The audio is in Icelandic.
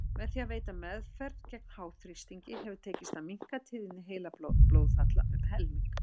Með því að veita meðferð gegn háþrýstingi hefur tekist að minnka tíðni heilablóðfalla um helming.